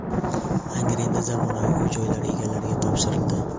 Angrenda zamonaviy uy-joylar egalariga topshirildi.